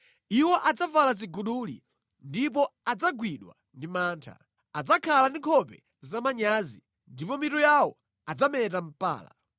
Iwo adzavala ziguduli ndipo adzagwidwa ndi mantha. Adzakhala ndi nkhope zamanyazi ndipo mitu yawo adzameta mpala.